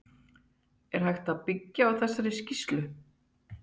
Er hægt að byggja á þessari skýrslu?